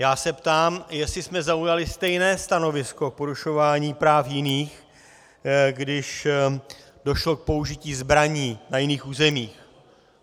Já se ptám, jestli jsme zaujali stejné stanovisko k porušování práv jiných, když došlo k použití zbraní na jiných územích.